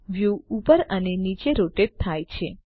view ઉપર અને નીચે રોટેટ થાય છે